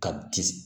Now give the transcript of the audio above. Ka di